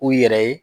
U yɛrɛ ye